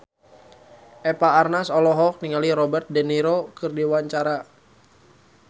Eva Arnaz olohok ningali Robert de Niro keur diwawancara